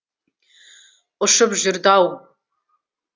ұшып жүрді ау